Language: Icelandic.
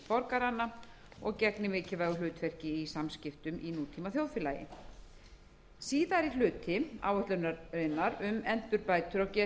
borgaranna og gegni mikilvægu hlutverki í samskiptum í nútímaþjóðfélagi síðari hluti áætlunarinnar um endurbætur